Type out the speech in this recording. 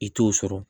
I t'o sɔrɔ